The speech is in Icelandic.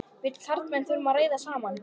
Við karlmennirnir þurfum að ræða saman.